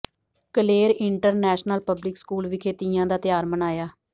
Kaler international public school ਵਿਖੇ ਤੀਆਂ ਦਾ ਤਿਉਹਾਰ ਮਨਾਇਆ